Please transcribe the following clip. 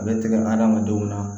A bɛ tigɛ adamadenw na